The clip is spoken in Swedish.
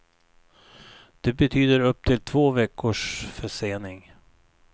Det betyder upp till två veckors försening.